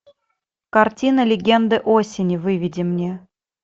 картина легенды осени выведи мне